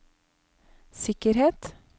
sikkerhet